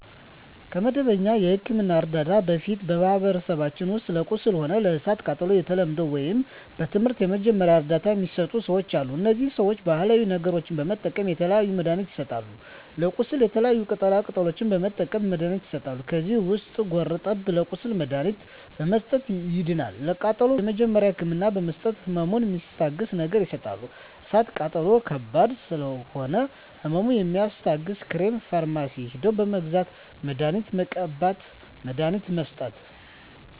ከመደበኛ የሕክምና ዕርዳታ በፊት በማኀበረሰባችን ውስጥ ለቁስል ሆነ ለእሳት ቃጠሎው በተለምዶው ወይም በትምህርት የመጀመሪያ እርዳታ ሚሰጡ ሰዎች አሉ እነዚህ ሰዎች ባሀላዊ ነገሮች በመጠቀም የተለያዩ መድሀኒትችን ይሰጣሉ ለቁስል የተለያዩ ቅጠላ ቅጠሎችን በመጠቀም መድሀኒቶች ይሠራሉ ከዚህ ውስጥ ጉርጠብን ለቁስል መድሀኒትነት በመስጠት ያድናል ለቃጠሎ የመጀመሪያ ህክምና በመስጠት ህመሙን ሚስታግስ ነገር ይሰጣሉ እሳት ቃጠሎ ከባድ ስለሆነ ህመሙ የሚያስታግስ ክሬም ፈርማሲ ሄደው በመግዛት መድሀኒት መቀባት መድሀኒት መስጠት